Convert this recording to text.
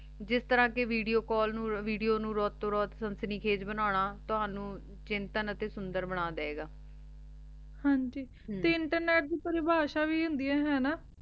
ਜਿਸ ਤਰਹ ਕੇ ਵਿਡੋ ਕਾਲ ਨੂ ਵਿਡੋ ਨੂ ਰਾਤੋੰ ਰਾਤ ਸਨਸਨੀ ਬਨਾਨਾ ਤੁਹਾਨੂ ਚਿੰਤਾ ਨਾਤੀ ਸੁੰਦਰ ਬਣਾ ਦੇ ਗਾ ਹਾਂਜੀ ਤੇ internet ਦੀ ਪ੍ਰਤਿਭਾਸ਼ਾ ਵੀ ਹੁੰਦੀ ਆਯ ਹੈ ਨਾ